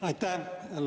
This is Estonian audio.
Aitäh, hea eesistuja!